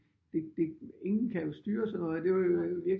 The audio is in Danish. Det ingen kan jo styre sådan noget det er jo